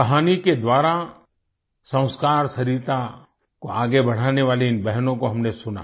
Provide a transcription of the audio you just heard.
कहानी के द्वारा संस्कार सरिता को आगे बढ़ाने वाली इन बहनों को हमने सुना